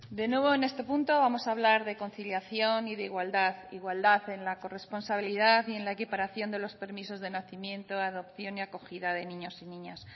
de nuevo en este punto vamos a hablar de conciliación y de igualdad igualdad en la corresponsabilidad y en la equiparación de los permisos de nacimiento adopción y acogida de niños y niñas